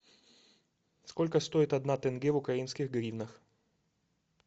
сколько стоит одна тенге в украинских гривнах